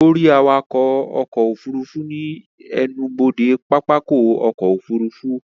Ó rí awakọ̀ ọkọ̀ òfurufú ní ẹnubodè pápákọ̀ ọkọ̀ òfurufú